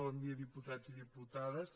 bon dia diputats i diputades